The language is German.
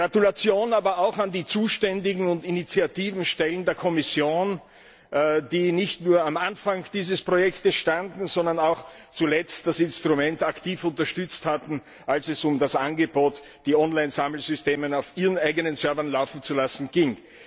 Gratulation auch an die zuständigen und initiativen Stellen der Kommission, die nicht nur am Anfang dieses Projekts standen, sondern auch zuletzt das Instrument aktiv unterstützt hatten, als es um das Angebot, die Online Sammelsysteme auf ihren eigenen Servern laufen zu lassen, ging.